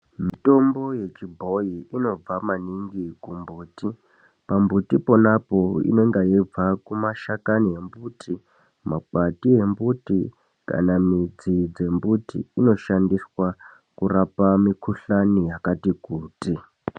Mitombo yechibhoyi inobva maningi kumbuti, pambuti ponapo inenge yeibva kumashakani embuti, makwati embuti kana midzi dzembuti, inoshandiswa kurapa mikuhlani yakati-kuti.